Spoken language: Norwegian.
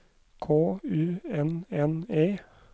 K U N N E